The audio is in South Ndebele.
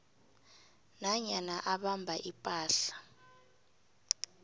nanyana abamba ipahla